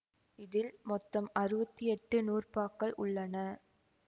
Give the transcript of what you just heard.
இதில் மொத்தம் அறுவத்தி எட்டு நூற்பாக்கள் உள்ளன